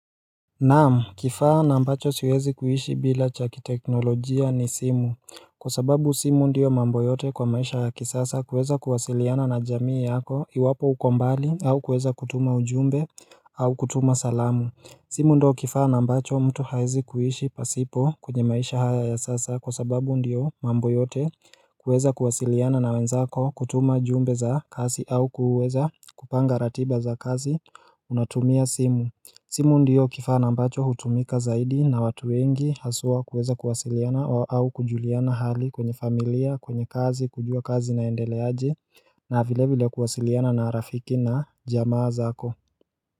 Naamu kifaa na ambacho siwezi kuhishi bila chakiteknolojia ni simu Kwa sababu simu ndiyo mambo yote kwa maisha ya kisasa kuweza kuwasiliana na jamii yako iwapo ukombali au kuweza kutuma ujumbe au kutuma salamu simu ndo kifaa na ambacho mtu haizi kuhishi pasipo kunye maisha haya ya sasa kwa sababu ndiyo mambo yote kuweza kuwasiliana na wenzako kutuma jumbe za kasi au kuweza kupanga ratiba za kasi unatumia simu simu ndiyo kifana ambacho hutumika zaidi na watu wengi hasua kuweza kuwasiliana au kujuliana hali kwenye familia kwenye kazi kujua kazi naendeleaji na vile vile kuwasiliana na rafiki na jamaa zako.